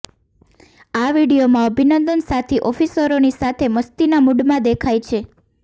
આ વીડિયોમાં અભિનંદન સાથી ઓફિસરોની સાથે મસ્તીના મૂડમાં દેખાય છે